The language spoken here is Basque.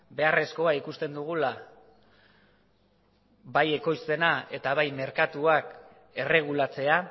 beharrezkoa ikusten dugula bai ekoizpena eta bai merkatuakerregulatzea